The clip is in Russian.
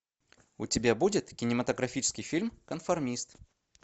у тебя будет кинематографический фильм конформист